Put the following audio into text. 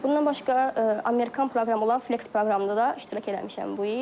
Bundan başqa Amerikan proqramı olan Flex proqramında da iştirak eləmişəm bu il.